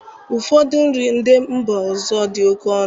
Ụfọdụ nri ndị mba ọzọ dị oke ọnụ